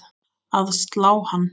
að slá hann.